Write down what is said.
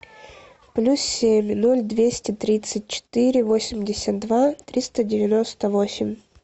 плюс семь ноль двести тридцать четыре восемьдесят два триста девяносто восемь